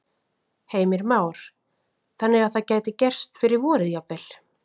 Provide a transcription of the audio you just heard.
Heimir Már: Þannig að það gæti gerst fyrir vorið jafnvel?